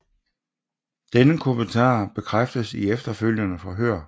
Denne kommentar bekræftes i efterfølgende forhør